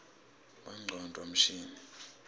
bongcondvo mshini